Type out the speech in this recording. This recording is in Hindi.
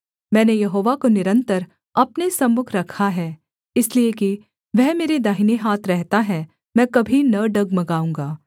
मैंने यहोवा को निरन्तर अपने सम्मुख रखा है इसलिए कि वह मेरे दाहिने हाथ रहता है मैं कभी न डगमगाऊँगा